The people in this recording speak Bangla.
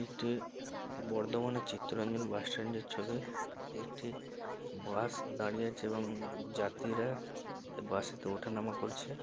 এটি বর্ধমানের চিত্তরঞ্জন বাস স্ট্যান্ডের ছবি একটি বাস দাঁড়িয়ে আছে এবং উম যাত্রীরা বাসেতে ওঠানামা করছে।